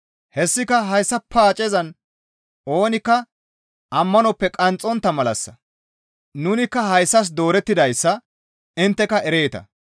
Hessika hayssa paacezan oonikka ammanoppe qanxxontta malassa; nunikka hayssas doorettidayssa intteka ereeta.